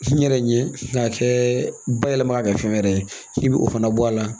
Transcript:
N yɛrɛ ɲɛ k'a kɛ bayɛlɛma ka kɛ fɛn wɛrɛ ye i bɛ o fana bɔ a la